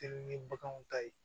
Teli ni baganw ta ye